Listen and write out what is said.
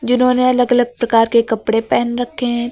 जिन्होंने अलग अलग प्रकार के कपड़े पहन रखे हैं।